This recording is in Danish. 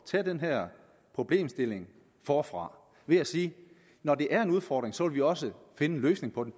tage den her problemstilling forfra ved at sige at når det er en udfordring så vil vi også finde en løsning på den